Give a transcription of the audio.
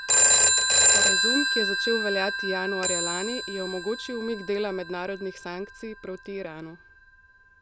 Sporazum, ki je začel veljati januarja lani, je omogočil umik dela mednarodnih sankcij proti Iranu.